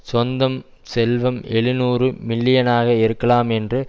சொந்தம் செல்வம் எழுநூறு மில்லியனாக இருக்கலாம் என்று